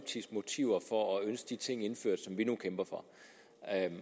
motiver for at ønske de ting indført som vi nu kæmper for